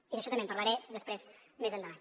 i d’això també en parlaré després més endavant